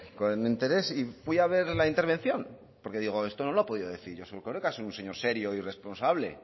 con interés y fui a ver la intervención porque digo esto no lo ha podido decir josu erkoreka es un señor serio y responsable